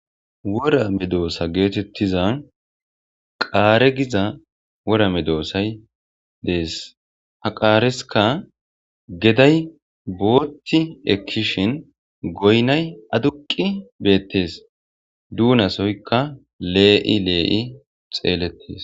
wora medoossa geetettiza qaare giza wora me doossay dees ha qaareska geday bootti ekkishin goynay aduqi beettes duunasoyka lee'i lee'i xeelletes